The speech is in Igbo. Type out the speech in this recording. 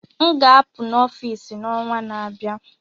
M ga-apụ na Ofịịsi n'ọnwa na-abịa